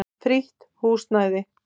Frítt húsnæði.